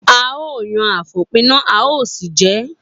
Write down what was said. A ó yan àfòpíná a ó sì jẹ ẹ́.